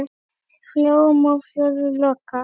Flóum og fjörðum lokað.